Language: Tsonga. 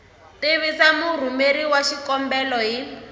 tivisa murhumeri wa xikombelo hi